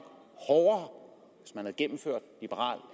hårdere hvis man havde gennemført liberal